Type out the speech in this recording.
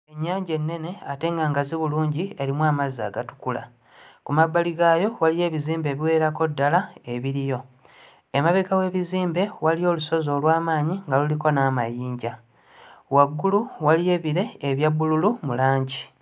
Ennyanja ennene ate nga ngazi bulungi erimu amazzi agatukula ku mabbali gaayo waliyo ebizimbe ebiwererako ddala ebiriyo. Emabega w'ebizimbe waliyo olusozi olw'amaanyi nga luliko n'amayinja waggulu waliyo ebire ebya bbululu mu langi.